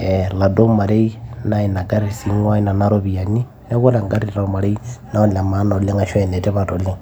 ee oladuo marei naa ina garri sii ing'uaa nena ropiyiani, neeku ore engarri tormarei na ene maana ashu ene tipat oleng'.